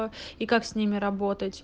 а и как с ними работать